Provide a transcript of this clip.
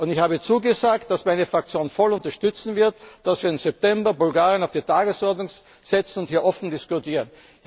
Und ich habe zugesagt, dass meine Fraktion voll unterstützen wird, dass wir im September Bulgarien auf die Tagesordnung setzen und hier offen diskutieren.